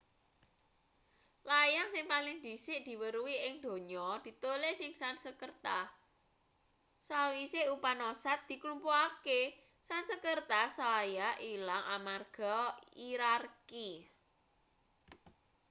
layang sing paling dhisik diweruhi ing donya ditulis ing sansekerta sawise upanoshads diklumpukake sansekerta saya ilang amarga hirarki